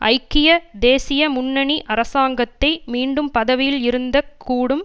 ஐக்கிய தேசிய முன்னணி அரசாங்கத்தை மீண்டும் பதவியில் இருந்தக் கூடும்